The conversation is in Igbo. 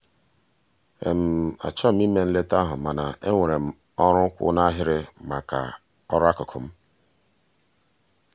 achọghị m ịma nleta ahụ mana enwere m ọrụ kwụ n'ahịrị maka ọrụ akụkụ m.